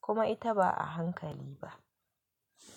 kuma ita ba a hankali ba.